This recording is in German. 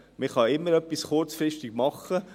Man kann immer etwas noch kurzfristig machen.